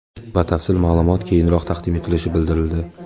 Batafsil ma’lumot keyinroq taqdim etilishi bildirildi.